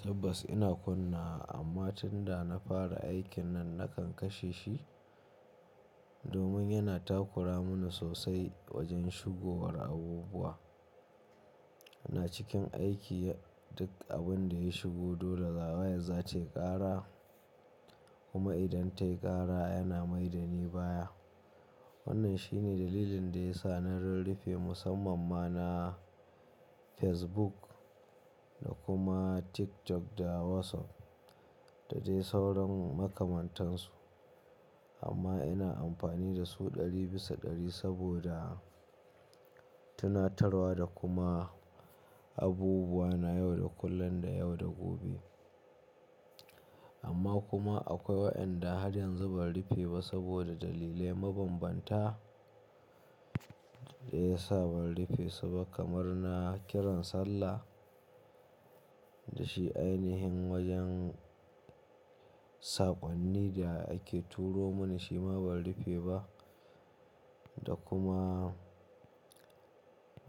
Tabbas ina kunna amma tunda na fara aikin nan nakan kashe shi domin yana takura mani sosai wajen shigowar abubuwa. Na cikin aiki duk abin da ya shigo dole zaga waye zata ƙara kuma idan ta ƙara yana maida ni baya. Wannan shine dalilin da ya sa na rurrufe musamman ma na Facebook da kuma TikTok da WhatsApp da dai sauran makamantansu. Amma ina amfani da su ɗari bisa ɗari saboda tunatarwa da kuma abubuwa na yau da kullun da yau da gobe. Amma kuma akwai waɗanda har yanzu ban rufe ba saboda dalilai mabambanta da ya sa ban rufe su ba kamar na kiran sallah da shi ainihin wajen saƙonni da ake turo mani shi ma ban rufe ba da kuma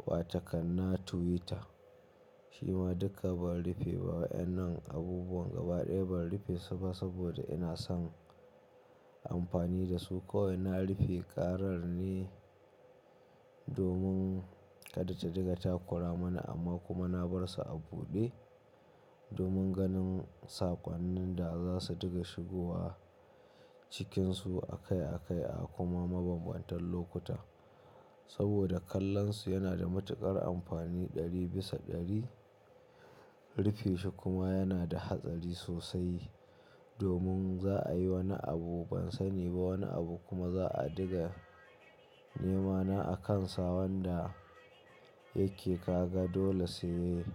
wata kana Twitter shi ma duka ban rufe ba. Waɗannan abubuwan gaba ɗaya ban rufe su ba saboda ina son amfani da su ko ina rufe ƙarar ne domin kada ta diga takura mani amma kuma na bar su a buɗe domin ganin saƙonnin da za su diga shigowa cikinsu akai akai a kuma mabambantan lokuta. Saboda kallonsu yana da matuƙar amfani ɗari bisa ɗari. Rufe shi kuma yana da hatsari sosai domin za a yi wani abu ban sani ba wani abu kuma za a diga nemana a kansa wanda yake kaga dole su yi.